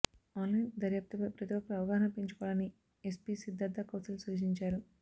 online దర్యాప్తుపై ప్రతి ఒక్కరు అవగాహన పెంచుకోవాలని ఎస్పీ సిద్ధార్థ కౌశల్ సూచించారు